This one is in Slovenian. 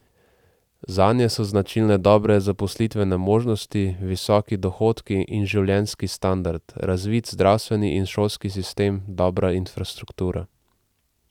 Zanje so značilne dobre zaposlitvene možnosti, visoki dohodki in življenjski standard, razvit zdravstveni in šolski sistem, dobra infrastruktura.